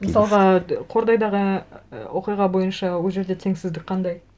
мысалға қордайдағы оқиға бойынша ол жерде теңсіздік қандай